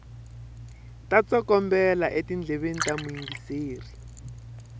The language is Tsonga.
ta tsokombela etindleveni ta muyingiseri